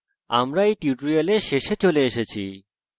আমরা we tutorial শেষে চলে এসেছি